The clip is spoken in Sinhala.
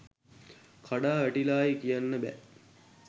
කඩා වැටිලායි කියන්න බෑ.